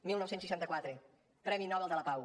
dinou seixanta quatre premi nobel de la pau